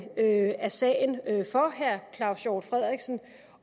af sagen for herre claus hjort frederiksen